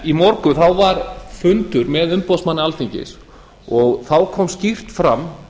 í morgun var fundur með umboðsmanni alþingis og þá kom skýrt fram